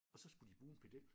Og så skulle de bruge en pedel